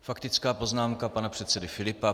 Faktická poznámka pana předsedy Filipa.